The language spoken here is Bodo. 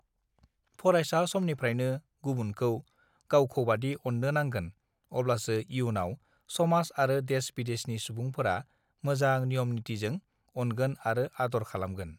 फरायसा समनिफ्रायनो गुबुनखौ गावखौबादि अननो नांगोन अब्लासो इयुनाव समाज आरो देश बिदेशनि सुबुंफोरा मोजां नियम नितीजों अनगोन आरो आदर खालामगोन